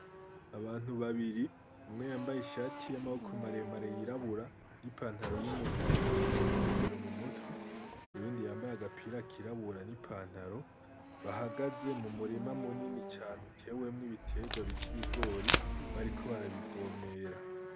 Abantu babiri umwe yambaye ishati y'amaboko maremare y'irabura ni pantaro y'umurima, n'inkofero mumutwe, uyundi yambaye agapira kirabura n'ipantaro. Bahagaze mu murima munini cane utewemwo ibiterwa bita ibigori bariko barabivomera.